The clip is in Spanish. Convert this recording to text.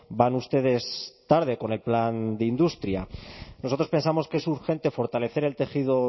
van ustedes tarde con el plan de industria nosotros pensamos que es urgente fortalecer el tejido